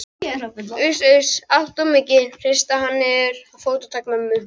Uss-uss, allt of mikið, hrista hann niður. fótatak mömmu